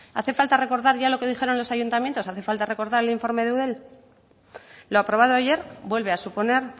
hace falta recordar ya lo que dijeron los ayuntamientos hace falta recordar el informe de eudel lo aprobado ayer vuelve a suponer